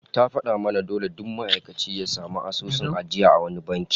Ta fada mana dole duk ma'aikaci ya samu asusun ajiya a wani banki